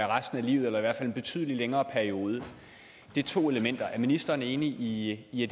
resten af livet eller i hvert fald en betydelig længere periode det er to elementer er ministeren enig i i